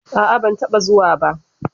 A'a, ban taɓa zuwa ba.